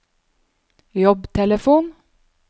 jobbtelefon